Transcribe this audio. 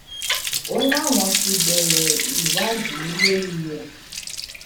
o láwọn ti bẹrẹ ìwádìí lórí ẹ